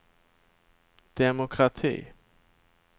demokrati